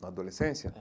Na adolescência?